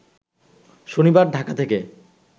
শনিবার ঢাকা থেকে